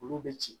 Olu bɛ ci